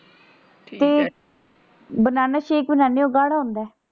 ਤੇ banana shake ਬਣਾਨੇ ਉਹ ਗਾੜ੍ਹਾ ਹੁੰਦਾ ਹੈ।